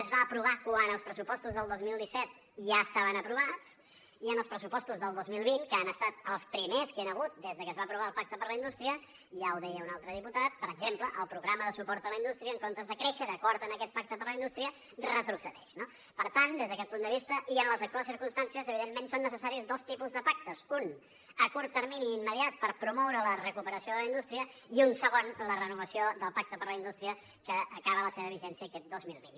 es va aprovar quan els pressupostos del dos mil disset ja estaven aprovats i en els pressupostos del dos mil vint que han estat els primers que hi han hagut des de que es va aprovar el pacte per la indústria ja ho deia un altre diputat per exemple el programa de suport a la indústria en comptes de créixer d’acord amb aquest pacte per la indústria retrocedeix no per tant des d’aquest punt de vista i en les actuals circumstàncies evidentment són necessaris dos tipus de pactes un a curt termini immediat per promoure la recuperació de la indústria i un segon la renovació del pacte per a la indústria que acaba la seva vigència aquest dos mil vint